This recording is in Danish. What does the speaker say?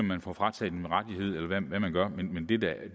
man får frataget en rettighed eller hvad man gør men